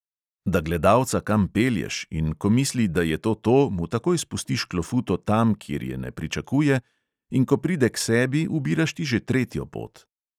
Da gledalca kam pelješ, in ko misli, da je to to, mu takoj spustiš klofuto tam, kjer je ne pričakuje, in ko pride k sebi, ubiraš ti že tretjo pot.